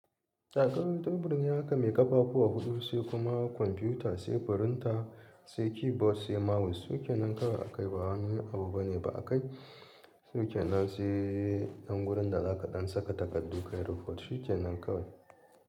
Takardan teburin naka mai ƙafafu huɗu sai kuma kwamfuta sai firinta sai keyboard sai mouse suke nan kawai akai ba wani abu bane ba a kai shike nan sai ɗan wurin da za ka ɗan saka takardu ka yi report shike nan kawai.